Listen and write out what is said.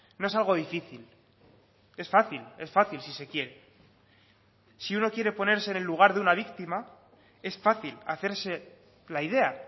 no es algo difícil es fácil es fácil si se quiere si uno quiere ponerse en el lugar de una víctima es fácil hacerse la idea